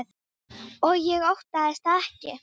Og ég óttast það ekki.